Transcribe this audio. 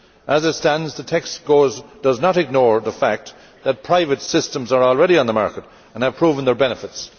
As it stands, the text does not ignore the fact that private systems are already on the market and have proven their benefits.